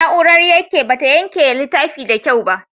Na'urar yanke ba ta yanke littafin da kyau ba.